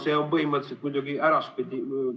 See on põhimõtteliselt muidugi äraspidi.